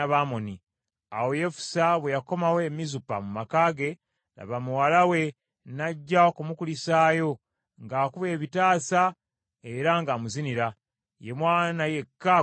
Awo Yefusa bwe yakomawo e Mizupa mu maka ge, laba muwala we n’ajja okumukulisaayo ng’akuba ebitaasa era ng’amuzinira. Ye mwana yekka gwe yalina.